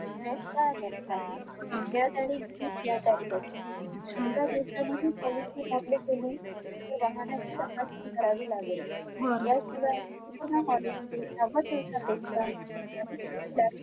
grace काळ देत नाही देयतारीख हीच ध्येयतारीख असते एका दिवसाने ही policy मोडली गेली तर वाहनांची तपासणी करावी लागेल पूर्ण policy अधिक